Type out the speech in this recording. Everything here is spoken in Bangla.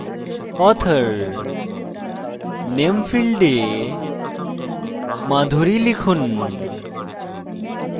authorname ফীল্ডে madhuri লিখুন